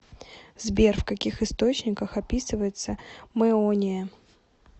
сбер в каких источниках описывается мэония